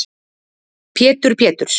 Pétur Péturs